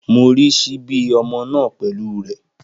Mo rí ṣíbí ọmọ náà pẹ̀lú rẹ̀.